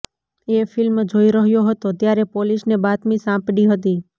એ film જોઈ રહ્યો હતો ત્યારે પોલીસને બાતમી સાંપડી હતી